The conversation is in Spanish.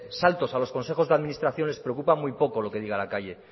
saltos a los consejos de administración les preocupa muy poco lo que diga la calle